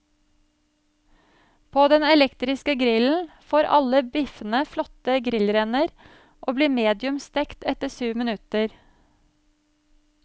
På den elektrisk grillen får alle biffene flotte grillrender og blir medium stekt etter syv minutter.